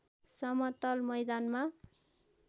समतल मैदानमा